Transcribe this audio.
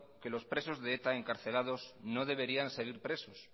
que los presos de eta encarcelados no deberían seguir presos